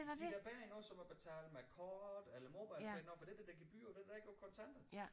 De er da bedre end noget som at betale med kort eller MobilePay noget for det er der gebyr på det er der ikke på kontanter